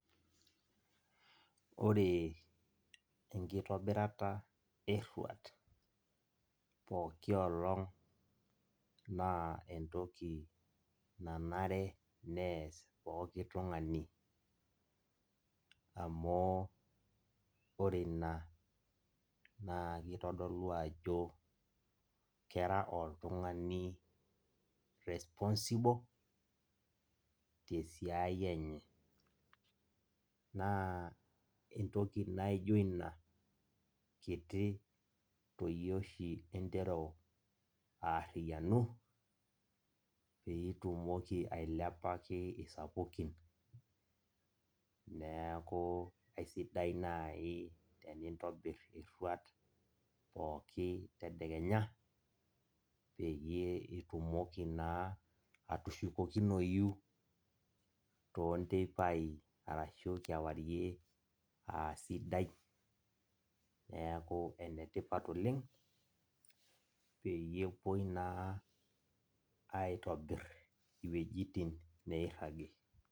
Ore enkitobirata eruat pooki olong na entoki nanare peas pooki tungani amu ore ina na kitodolu ajo kera oltungani responsible te siai enye, na entoki naijo ina kiti tooshi interu aariyanu peitumoki ailepaki sapukin, neaku aisidai nai tenintobir eraut pookin tedekenya peyie itumoki naa atushukokinoi tonteipae arashukewarie aa sidai neaku enetipat oleng peyie epuoi naa aitobir iwuejitin nairagi.